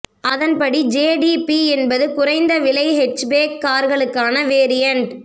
அதன் படி ஜேடிபி என்பது குறை்நத விலை ஹெட்ச்பேக் கார்களுக்கான வேரியன்ட்